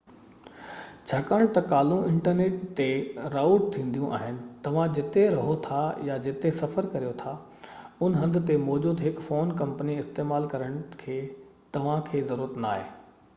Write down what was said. ڇاڪاڻ ته ڪالون انٽرنيٽ تي رائوٽ ٿينديون آهن توهان جتي رهو ٿا يا جتي سفر ڪريو ٿا ان هنڌ تي موجود هڪ فون ڪمپني استعمال ڪرڻ جي توهانکي ضرورت ناهي